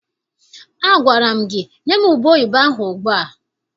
Agwara gị nye m ubeoyibo ahụ ugbu a!